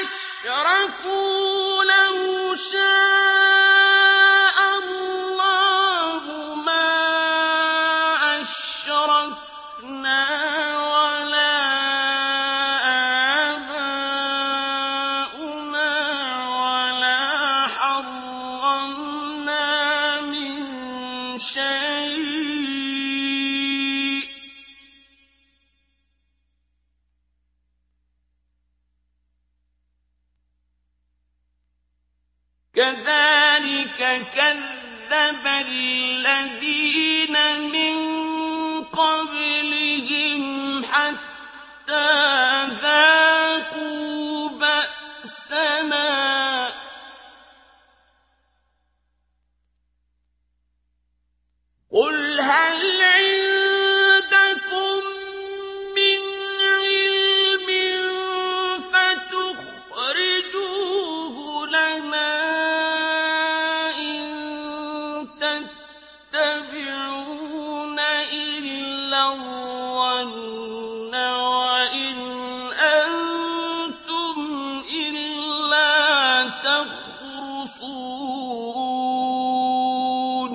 أَشْرَكُوا لَوْ شَاءَ اللَّهُ مَا أَشْرَكْنَا وَلَا آبَاؤُنَا وَلَا حَرَّمْنَا مِن شَيْءٍ ۚ كَذَٰلِكَ كَذَّبَ الَّذِينَ مِن قَبْلِهِمْ حَتَّىٰ ذَاقُوا بَأْسَنَا ۗ قُلْ هَلْ عِندَكُم مِّنْ عِلْمٍ فَتُخْرِجُوهُ لَنَا ۖ إِن تَتَّبِعُونَ إِلَّا الظَّنَّ وَإِنْ أَنتُمْ إِلَّا تَخْرُصُونَ